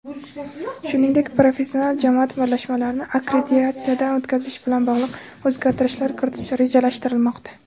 shuningdek professional jamoat birlashmalarini akkreditatsiyadan o‘tkazish bilan bog‘liq o‘zgartirishlar kiritish rejalashtirilmoqda.